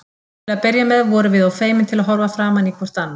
Til að byrja með vorum við of feimin til að horfa framan í hvort annað.